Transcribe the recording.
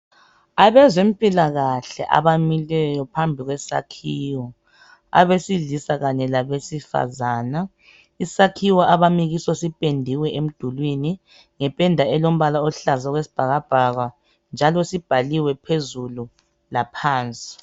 Abezempilakahle abamileyo phambi kwesakhiwo, abesilisa kanye labesifazane. Isakhiwo abami kiso siphendiwe emdulini ngependa elombala oluhlaza okwesibhakabhaka njalo sibhaliwe phezulu laphansi.